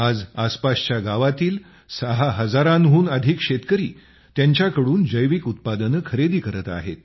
आज आसपासच्या गावातील ६ हजारांहून अधिक शेतकरी त्यांच्याकडून जैविक उत्पादने खरेदी करत आहेत